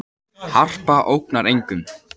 Harpa ógnar engum